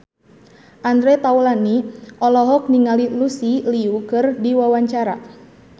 Andre Taulany olohok ningali Lucy Liu keur diwawancara